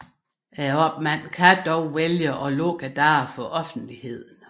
Opmanden kan dog vælge at lukke dørene for offentligheden